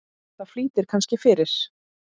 Það flýtir kannski fyrir.